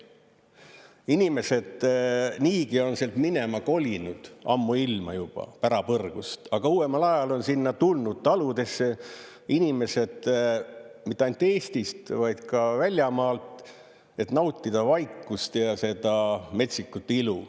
Inimesed niigi on sealt minema kolinud ammuilma juba, pärapõrgust, aga uuemal ajal on sinna tulnud taludesse inimesed mitte ainult Eestist, vaid ka väljamaalt, et nautida vaikust ja seda metsikut ilu.